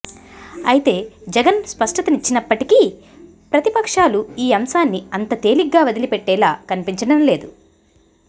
అయితే జగన్ స్పష్టతనిచ్చినప్పటికీ ప్రతిపక్షాలు ఈ అంశాన్ని అంత తేలిగ్గా వదిలిపెట్టేలా కనిపించడం లేదు